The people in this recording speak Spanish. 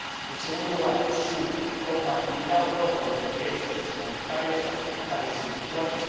en segundo lugar, su compatibilidad o no con los derechos fundamentales, las libertades individuales